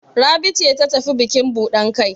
Rabi ce ta tafi bukin buɗan kai?